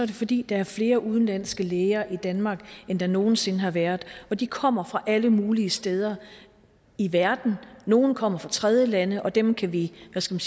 det fordi der er flere udenlandske læger i danmark end der nogen sinde har været og de kommer fra alle mulige steder i verden nogle kommer fra tredjelande og dem kan vi hvad skal